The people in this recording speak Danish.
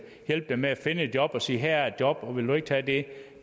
hjælpe dem med at finde et job og sige her er et job og vil du ikke tage det